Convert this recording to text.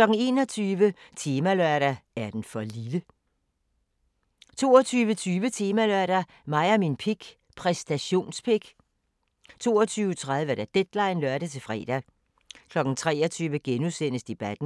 21:00: Temalørdag: Er den for lille? 22:20: Temalørdag: Mig og min pik – præstationspik 22:30: Deadline (lør-fre) 23:00: Debatten *